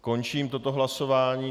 Končím toto hlasování.